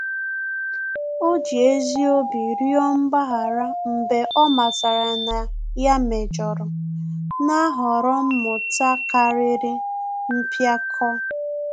Ọ́ jì ezi obi rịọ mgbaghara mgbe ọ́ màtàrà na yá méjọ̀rọ̀, nà-àhọ̀rọ́ mmụta kàrị́rị́ mpíákọ́.